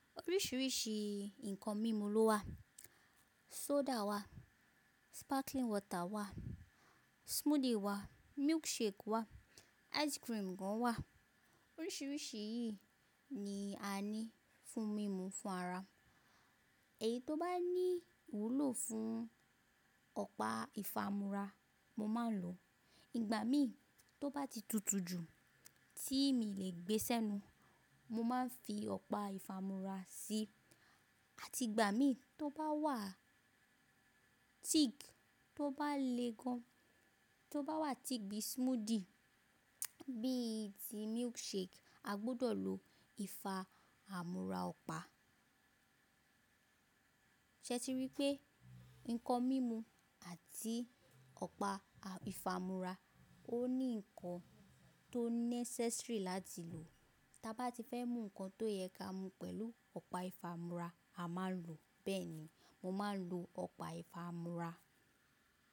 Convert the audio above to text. Oríṣiríṣi nǹkan mímu ló wà. Soda wà, sparkling water wà, smoothie wà, milkshake wà, ice cream gan wà. Oríṣiríṣi yìí ni a ní fún mímu fún ara. Èyí tó bá ní wúlò fún ọ̀pá ìfààmúrà mo máa ń lò. Ìgbà míi tó bá ti tutu jù tí mi le gbé sẹ́nu, mo máa ń fi ọ̀pá ìfààmúrà sí. Àti ìgbà míi tó bá wà thick, tó bá le gan, tó bá wà thick bíi smoothie, bíi ti milkshake, a gbudọ̀ lò ìfààmúrà ọ̀pá. Ṣé ti rí pé nǹkan mímu àti ọ̀pá ìfààmúrà ó ní nǹkan tó necessary láti lò. Tabá ti fẹ́ mú nǹkan tó yẹ ká mu pẹ̀lú ọ̀pá ìfààmúrà, a máa ń lò. Bẹ́ẹ̀ ni mo máa ń lò ọ̀pá ìfààmúrà.